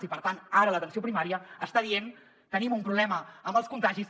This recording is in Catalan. i per tant ara l’atenció primària està dient tenim un problema amb els contagis